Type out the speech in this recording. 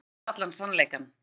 Ég veit allan sannleikann.